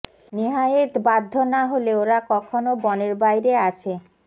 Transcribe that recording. নেহায়েৎ বাধ্য না হলে ওরা কখনো বনের বাইরে আসে